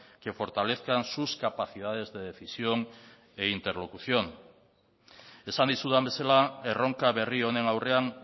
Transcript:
que fortalezcan sus capacidades de decisión y de interlocución esan dizudan bezala erronka berri honen aurrean